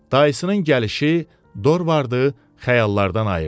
Dayısının gəlişi Dorvardı xəyallardan ayırdı.